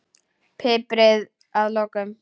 Piprið að lokum.